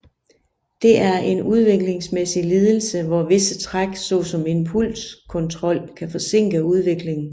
Det er en udviklingsmæssig lidelse hvor visse træk såsom impulskontrol kan forsinke udviklingen